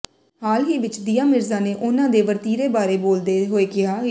ਹਾਲ ਹੀ ਵਿੱਚ ਦੀਆ ਮਿਰਜ਼ਾ ਨੇ ਉਨ੍ਹਾਂ ਦੇ ਵਰਤੀਰੇ ਬਾਰੇ ਬੋਲਦੇ ਹੋਏ ਕਿਹਾ ਕਿ